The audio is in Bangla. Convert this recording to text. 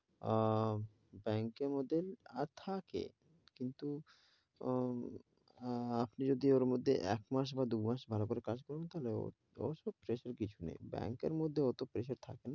আহ ব্যাংকের মধ্যে আহ থাকে কিন্তু হম আহ আপনি যদি ওর মধ্যে এক মাস বা দু মাস ভালো করে কাজ করেন তাহলে ওই সব pressure কিছু নেই, ব্যাংকের মধ্যে অটো pressure থাকে,